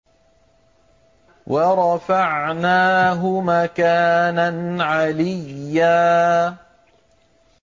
وَرَفَعْنَاهُ مَكَانًا عَلِيًّا